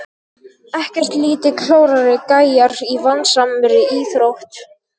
Ekkert lítið klárir gæjar í vandasamri íþrótt!